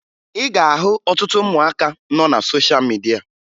Ị ga-ahụ ọtụtụ ụmụaka nọ na sosha midia